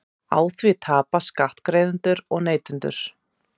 Á því tapa skattgreiðendur og neytendur